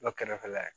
Dɔ kɛrɛfɛ la ye